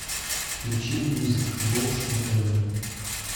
включи мьюзик бокс на тв